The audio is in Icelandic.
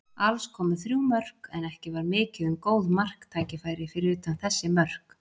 Alls komu þrjú mörk, en ekki var mikið um góð marktækifæri fyrir utan þessi mörk.